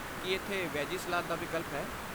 ਕੀ ਇੱਥੇ veggie salad ਦਾ ਵਿਕਲਪ ਹੈ?